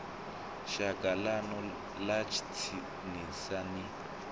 shaka ḽanu ḽa tsinisa ni